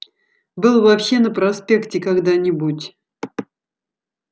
был вообще на проспекте когда-нибудь